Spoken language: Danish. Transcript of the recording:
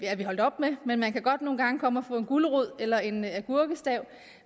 er vi holdt op med men man kan godt nogle gange komme og få en gulerod eller en agurkestav